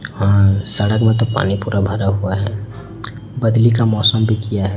हां सड़क में तो पानी पूरा भरा हुआ है बदली का मौसम भी किया है।